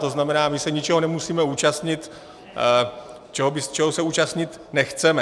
To znamená, my se ničeho nemusíme účastnit, čeho se účastnit nechceme.